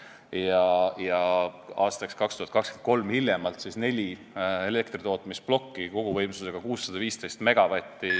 Hiljemalt aastaks 2023 langevad tööst välja neli elektritootmisplokki koguvõimsusega 615 megavatti.